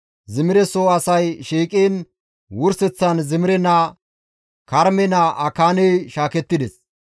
Zimire soo asay shiiqiin, wurseththan Zimire naa, Karme naa Akaaney shaakettides.